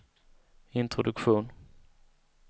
introduktion